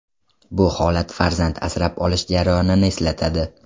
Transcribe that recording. Bu holat farzand asrab olish jarayonini eslatadi.